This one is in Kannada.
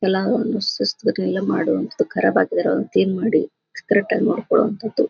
ಸುಸ್ತ್ ಬಟ್ ಇಲ್ಲೇ ಮಾಡು ಅಂತ ಕರಾಬ್ ಆಗ್ಯಾರ ಕ್ಲೀನ್ ಮಾಡಿ ಕರೆಕ್ಟ್ ಆಗಿ ನೋಡ್ಕೊಳ್ಳೋವಂತಹದ್ದು.